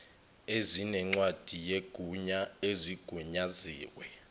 ezinencwadi yegunya ezigunyaziwe